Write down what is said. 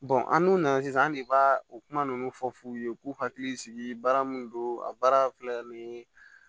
an dun nana sisan an de b'a o kuma ninnu fɔ f'u ye u k'u hakili sigi baara min don a baara filɛ nin ye